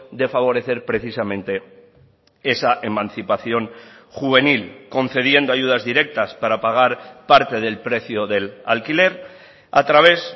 de favorecer precisamente esa emancipación juvenil concediendo ayudas directas para pagar parte del precio del alquiler a través